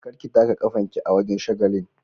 Kar ki taka kafan ki a wajen shagalin.